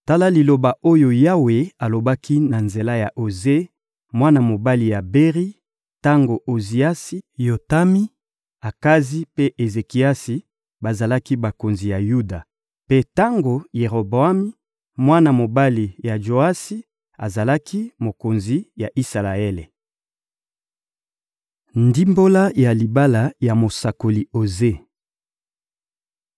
Tala liloba oyo Yawe alobaki na nzela ya Oze, mwana mobali ya Beri, tango Oziasi, Yotami, Akazi mpe Ezekiasi bazalaki bakonzi ya Yuda, mpe tango Jeroboami, mwana mobali ya Joasi, azalaki mokonzi ya Isalaele: Ndimbola ya libala ya mosakoli Oze